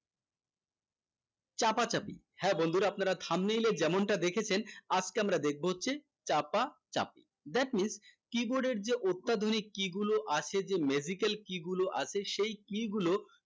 চাপাচাপি হ্যাঁ বন্ধুরা আপনারা thumb nail এ যেমনটা দেখেছেন আজকে আমরা দেখবো হচ্ছে চাপা চাপি that means keyboard এর যে অত্যাধুনিক key গুলো আছে যে magical key গুলো আছে সেই key গুলো